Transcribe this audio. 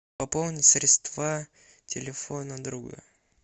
пополнить средства телефона друга